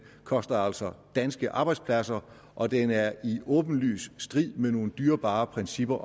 koster altså danske arbejdspladser og den er i åbenlys strid med nogle dyrebare principper